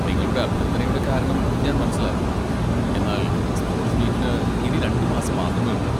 നിങ്ങളുടെ അഭ്യർത്ഥനയുടെ കാരണം ഞാൻ മനസ്സിലാക്കുന്നു, എന്നാൽ സ്പോർട്സ് മീറ്റിന് ഇനി രണ്ട് മാസം മാത്രമേ ഉള്ളു.